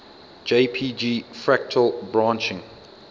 jpg fractal branching